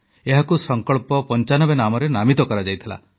ଏହାକୁ ସଂକଳ୍ପ95 ନାମରେ ନାମିତ କରାଯାଇଥିଲା